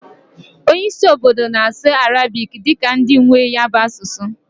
Onye isi obodo na-asụ arabiki dika ndị nwee ya bụ asụsụ